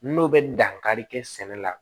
N'o bɛ dankari kɛ sɛnɛ la